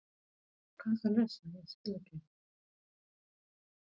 Þú ert duglegur og gull af manni en alltof viðkvæmur.